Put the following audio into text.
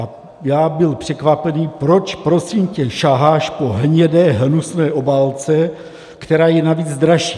A já byl překvapený: Proč, prosím tě, saháš po hnědé hnusné obálce, která je navíc dražší?